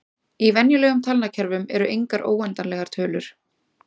Í venjulegum talnakerfum eru engar óendanlegar tölur.